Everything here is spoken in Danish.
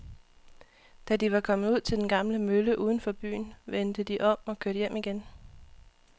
Da de var kommet ud til den gamle mølle uden for byen, vendte de om og kørte hjem igen.